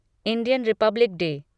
Indian Republic day